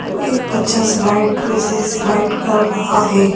को एक बच्चा स्लाइड पे से स्लाइड कर रहा है।